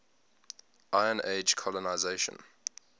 iron age colonisation